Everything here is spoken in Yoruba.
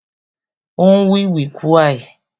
O n wiwikuai